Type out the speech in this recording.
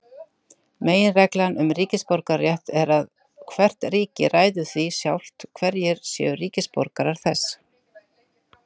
Meginreglan um ríkisborgararétt er að hvert ríki ræður því sjálft hverjir séu ríkisborgarar þess.